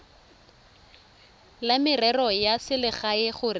la merero ya selegae gore